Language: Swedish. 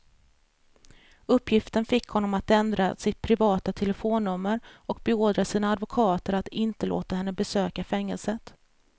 Uppgiften fick honom att ändra sitt privata telefonnummer och beordra sina advokater att inte låta henne besöka fängelset.